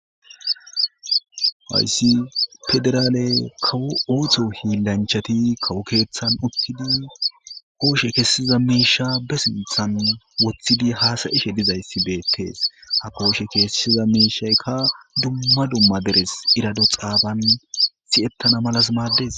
Hassi federalle kawootho hillanchtti kawo kethan uthiddi koshshe kesizza misha sinthan wothiddi hassayshe dizayssi bettees ha koshe kessiza mishaykka dumma dumma derres erado xabban si'ttanna mella maddees.